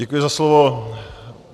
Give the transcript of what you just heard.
Děkuji za slovo.